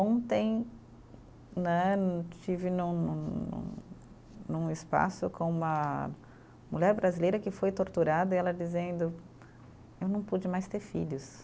Ontem né, estive num num num, num espaço com uma mulher brasileira que foi torturada e ela dizendo: eu não pude mais ter filhos.